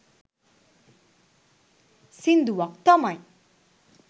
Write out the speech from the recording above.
සිංදුවක් තමයි